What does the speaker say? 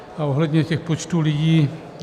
A ohledně těch počtů lidí.